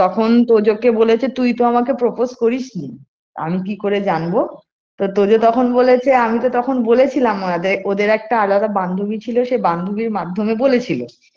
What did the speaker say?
তখন তোজো কে বলেছে তুই তো আমাকে propose করিস নি আমি কি করে জানবো তো তোজো তখন বলেছে আমি তো তখন বলেছিলাম ওদের ওদের একটা আলাদা বান্ধবী ছিলো সেই বান্ধবীর মাধ্যমে বলেছিল